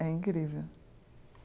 É incrível.